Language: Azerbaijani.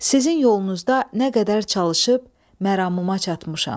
Sizin yolunuzda nə qədər çalışıb məramıma çatmışam.